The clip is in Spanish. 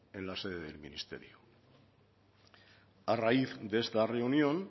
en la sede del ministerio a raíz de esta reunión